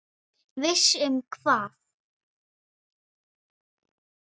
Viss um hvað?